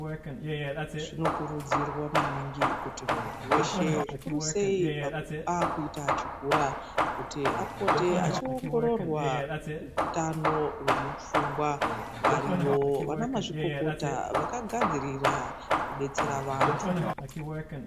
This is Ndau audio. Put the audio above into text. Zvinokurudzirwa kuti muntu weshe zvikuru sei akuita chikora kuita mazino mupfungwa variyo ana mazvikokota vakagafzirira kudetsera vantu.